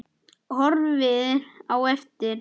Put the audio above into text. Horfir á eftir